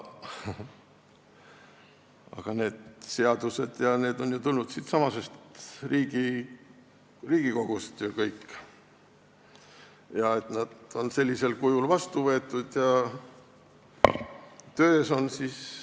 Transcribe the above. Need seadused on kõik tulnud ju siitsamast Riigikogust, nad on sellisel kujul vastu võetud ja töös.